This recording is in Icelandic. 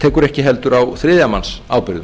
tekur ekki heldur á þriðja manns ábyrgðum